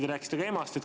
Te rääkisite ka emast.